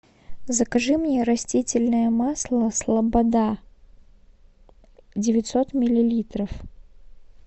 закажи мне растительное масло слобода девятьсот миллилитров